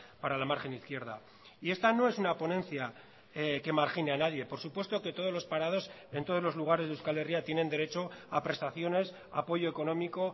para la margen izquierda y esta no es una ponencia que margine a nadie por supuesto que todos los parados en todos los lugares de euskal herria tienen derecho a prestaciones apoyo económico